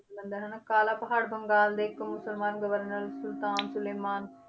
ਮੰਦਿਰ ਹਨਾ ਕਾਲਾ ਪਹਾੜ ਬੰਗਾਲ ਦੇ ਇੱਕ ਮੁਸਲਮਾਨ ਗਵਰਨਰ ਸੁਲਤਾਨ ਸੁਲੇਮਾਨ